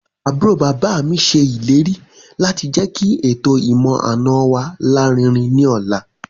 Àbúrò bàbá mi ṣe ìlérí láti jẹ́kí ètò ìmọ̀-àna wa larinrin ní ọ̀la